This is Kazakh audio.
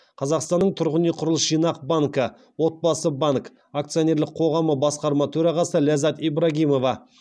қазақстанның тұрғын үй құрылыс жинақ банкі отбасы банк акционерлік қоғамы басқарма төрағасы ляззат ибрагимова